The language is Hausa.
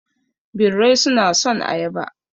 Birrai suna son ayaba.